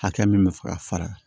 Hakɛ min bɛ fɛ ka fara